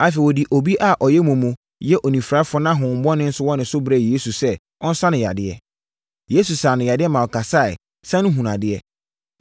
Afei, wɔde obi a ɔyɛ mumu yɛ onifirani na honhommɔne nso wɔ ne so brɛɛ Yesu sɛ ɔnsa no yadeɛ. Yesu saa no yadeɛ ma ɔkasaeɛ sane hunuu adeɛ.